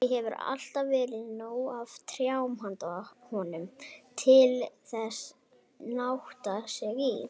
Því hefur alltaf verið nóg af trjám handa honum, til að nátta sig í.